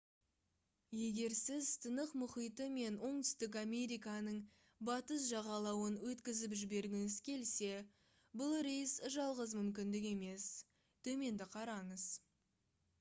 егер сіз тынық мұхиты мен оңтүстік американың батыс жағалауын өткізіп жібергіңіз келсе бұл рейс жалғыз мүмкіндік емес. төменді қараңыз